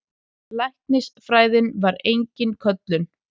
Læknisfræðin var engin köllun.